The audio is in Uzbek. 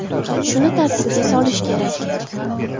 Shuni tartibga solish kerak.